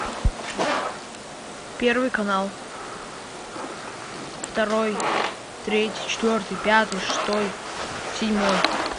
первый канал второй третий четвертый пятый шестой седьмой